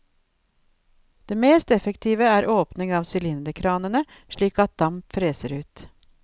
Det mest effektive er åpning av sylinderkranene, slik at damp freser ut.